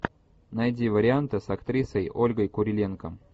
найди варианты с актрисой ольгой куриленко